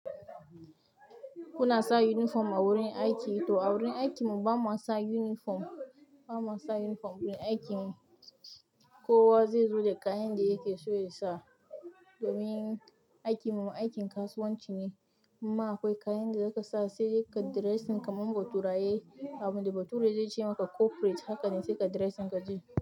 Kuna sa uniform a wurin aiki? To, a wurin aikin mu ba ma sa uniform, ba ma sa uniform wurin aikin mu. Kowa zai zo da kayan da yake so yasa. Domin aikin mu aikin kasuwanci ne, in ma akwai kayan da zaka sa saidai kayi dressing kaman baturaye, abinda bature zai ce maka corporate haka ne sai ka dressing kaje.